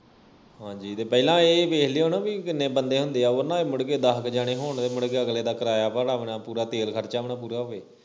ਹਾਂਜੀ ਤੇ ਪਹਿਲਾ ਇਹ ਵੇਖ ਲਿਉ ਨਾ ਬਈ ਕਿੰਨੇ ਬੰਦੇ ਹੁੰਦੇ ਆ ਉਹ ਨਾ ਹੋਵੇ ਮੁੜਕੇ ਦਹ ਕਿ ਜਾਣੇ ਹੋਣ ਤੇ ਮੁੜਕੇ ਅਗਲੇ ਦਾ ਕਿਰਾਇਆ ਭਾੜਾ ਵੀ ਨਾ ਪੂਰਾ ਤੇਲ ਖਰਚਾ ਵੀ ਨਾ ਪੂਰਾ ਹੋਵੇ